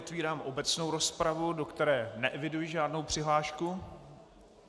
Otvírám obecnou rozpravu, do které neeviduji žádnou přihlášku.